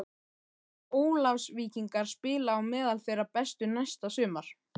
Munu Ólafsvíkingar spila á meðal þeirra bestu næsta sumar?